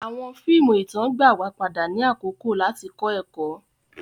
Awọn fíìmù ìtàn gbà wa padà ni àkókò lati kọ ẹkọ.